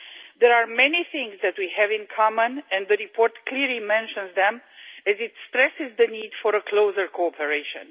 There are many things that we have in common, and the report clearly mentions them as it stresses the need for closer cooperation.